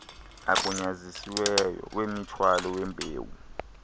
agunyazisiweyo wemithwalo yembewu